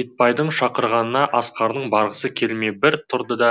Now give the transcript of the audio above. итбайдың шақырғанына асқардың барғысы келмей бір тұрды да